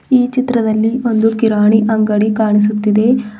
ಈ ಚಿತ್ರದಲ್ಲಿ ಒಂದು ಕಿರಾಣಿ ಅಂಗಡಿ ಕಾಣಿಸುತ್ತಿದೆ.